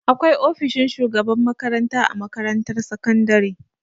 Akwai ofishin shugaban makaranta a makarantar sakandare.